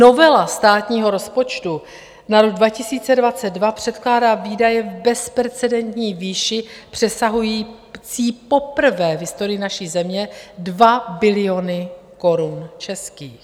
Novela státního rozpočtu na rok 2022 předkládá výdaje v bezprecedentní výši přesahující poprvé v historii naší země 2 biliony korun českých.